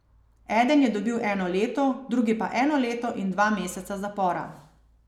Eden je dobil eno leto, drugi pa eno leto in dva meseca zapora.